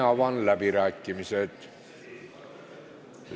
Avan läbirääkimised.